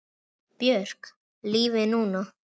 Björk Lífið er núna!